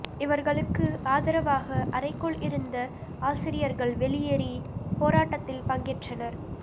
இவர்களுக்கு ஆதரவாக அறைக்குள் இருந்த ஆசிரியர்கள் வெளியேறி போராட்டத்தில் பங்கேற்றனர்